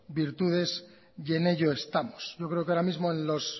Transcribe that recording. virtudes y en ello estamos yo creo que ahora mismo en los